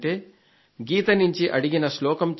గీత నుండి అడిగిన శ్లోకం చెప్పింది